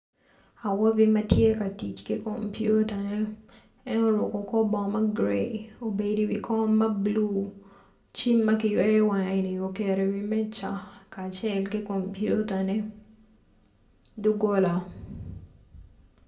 Awobi matye ka tic ki komputane en oruko kor bongo ma gray obedo iwi kom ma blu cim ma kicweyo wange-ni oketo i wi meja kacel ki komputa-ne dogola